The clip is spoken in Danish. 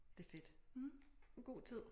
Det fedt en god tid